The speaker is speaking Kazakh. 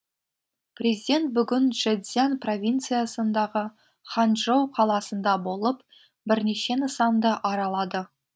президент бүгін чжэцзян провинциясындағы ханчжоу қаласында болып бірнеше нысанды аралады